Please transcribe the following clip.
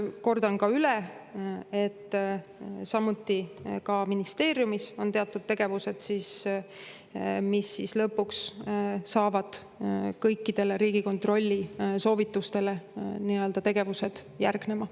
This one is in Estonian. Kordan üle, et ka ministeeriumis on teatud tegevused, ning lõpuks järgnevad kõikidele Riigikontrolli soovitustele tegevused.